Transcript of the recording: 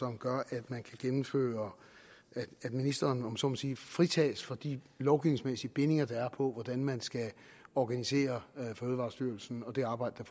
gør at man kan gennemføre at ministeren om jeg så må sige fritages for de lovgivningsmæssige bindinger der er på hvordan man skal organisere fødevarestyrelsen og det arbejde